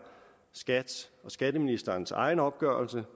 skat’s og skatteministerens egen opgørelse